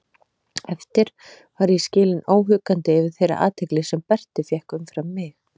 Eftir var ég skilinn óhuggandi yfir þeirri athygli sem Berti fékk umfram mig.